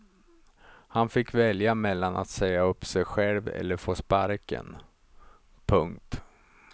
Han fick välja mellan att säga upp sig själv eller få sparken. punkt